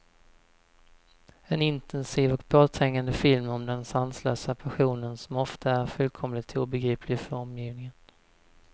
En intensiv och påträngande film om den sanslösa passionen, som ofta är fullkomligt obegriplig för omgivningen.